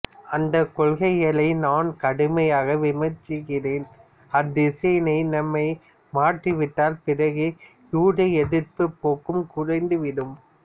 அந்தக் கொள்கைகளை நான் கடுமையாக விமர்சிக்கிறேன் அத்திசையினை நாம் மாற்றி விட்டால் பிறகு யூத எதிர்ப்புப் போக்கும் குறைந்து விடும்